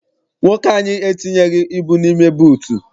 Nwoke anyị entinyeghi ibu n'ime buutu.